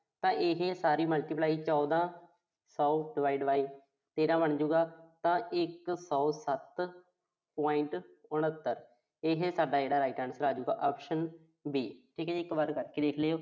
ਤਾਂ ਇਹੇ ਸਾਰੀ multiply ਚੌਦਾਂ ਸੌ divide by ਤੇਰ੍ਹਾਂ ਬਣਜੂ ਗਾ। ਤਾਂ ਇੱਕ ਸੌ ਸੱਤ point ਉਨ੍ਹੱਤਰ। ਇਹੇ ਸਾਡਾ ਜਿਹੜਾ right answer ਆਜੂਗਾ option B ਠੀਕ ਆ ਜੀ। ਇੱਕ ਵਾਰ ਕਰਕੇ ਦੇਖ ਲਿਓ।